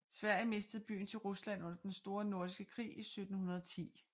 Sverige mistede byen til Rusland under Den Store Nordiske Krig i 1710